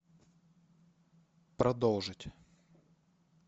продолжить